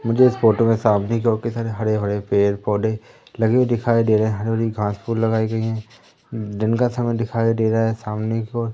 मुझे इस फोटो में सामने की ओर कई सारे हरे-भरे पेड़-पौधे लगे दिखाई दे रहे हैं हरी-भरी घांस फूल लगाई गई हैं दिन का समय दिखाई दे रहा है सामने की ओर।